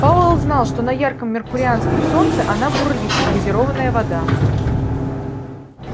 пауэлл знал что на ярком меркурианском солнце она бурлит как газированная вода